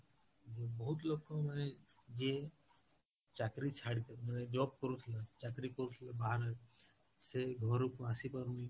ଆଉ ବହୁତ ଲୋକ ମାନେ ଯିଏ ଚାକିରୀ ମାନେ job କରୁଥିଲେ, ଚାକିରୀ କରୁଥିଲେ ବାହାରେ ସେ ଘରକୁ ଆସି ପାରୁନି